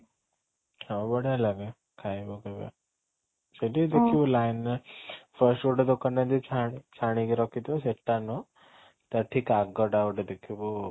ଆଉ ବଢିଆ ଲାଗେ ଖାଇବା ପିଇବା ସେଠି ଦେଖିବୁ line ରେ first ଗୋଟେ ଦୋକାନ ଏମିତି ଛାଣି ଛାଣିକି ରଖିଥିବ ସେଠା ନୁହଁ ତା ଠିକ ଆଗଟା ଗୋଟେ ଦେଖିବୁ